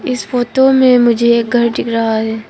इस फोटो में मुझे एक घर दिख रहा है।